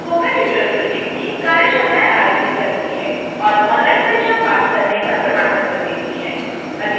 spoken tutorial project team कार्यशालाएं आयोजित करती है और ऑनलाइन परीक्षण पास करने पर प्रमाण पत्र देती है